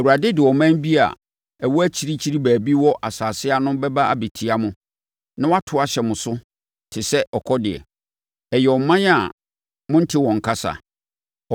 Awurade de ɔman bi a ɛwɔ akyirikyiri baabi wɔ asase ano bɛba abɛtia mo na wɔato ahyɛ mo so te sɛ ɔkɔdeɛ. Ɛyɛ ɔman a monte wɔn kasa;